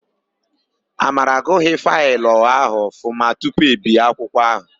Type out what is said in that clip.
Amara agụghị faịlụ ahụ ọfụma tupu e bie akwụkwọ áhụ̀.